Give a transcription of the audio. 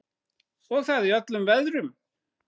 Og það í öllum veðrum.